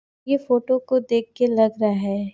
ये फोटो को देखके लग रहा है। --